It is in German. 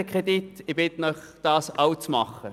Ich bitte Sie, dies auch zu tun.